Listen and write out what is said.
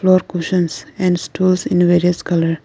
floor cushions and stools in various colour.